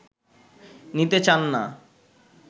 নিতে চান না